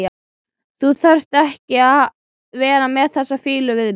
Þú þarft ekki að vera með þessa fýlu við mig.